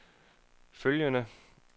følgende